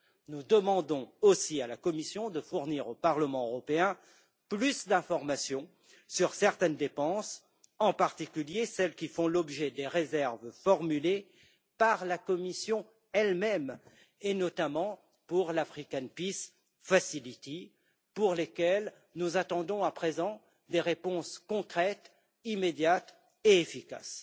Nous demandons également à la Commission de fournir au Parlement européen plus d'informations sur certaines dépenses, en particulier celles qui font l'objet des réserves formulées par la Commission elle même, et notamment pour l' African Peace Facility pour lesquelles nous attendons à présent des réponses concrètes, immédiates et efficaces.